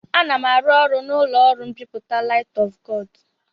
Ana m arụ ọrụ n'ụlọ ọrụ mbipụta Light of God.